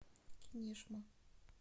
кинешма